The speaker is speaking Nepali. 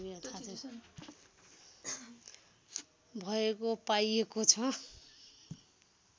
भएको पाइएको छ